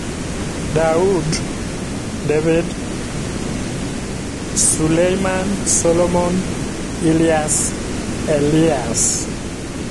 Dawud (David), Sulayman (Solomon), Ilyas (Elias).